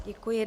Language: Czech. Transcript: Děkuji.